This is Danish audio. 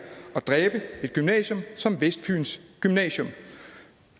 at dræbe et gymnasium som vestfyns gymnasium